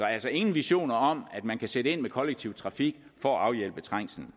altså ingen visioner om at man kan sætte ind med kollektiv trafik for at afhjælpe trængslen